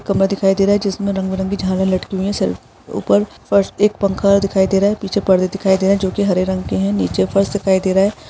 खंबा दिखाई दे रहा हैं जिसमे रंगों बिरंगे झाड़े लटके हुई हैं उपर फर्स्ट एक पंखा दिखाईं दे रहा हैं पीछे पर्दे दिखाईं दे रहे हैं जो कि हारे रंग के हैं नीचे फर्श दिखाई दे रहा हैं ।